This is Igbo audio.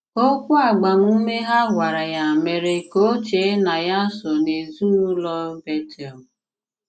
Òkwù agbàmùme ha gwàrà ya mèré ka ò chée na ya sὸ n’ezinụlọ Bétel.